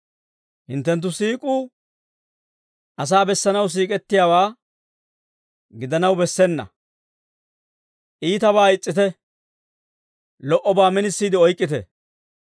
Hinttenttu siik'uu asaa bessanaw siik'ettiyaawaa gidanaw bessena. Iitabaa is's'ite; lo"obaa minisiide oyk'k'ite.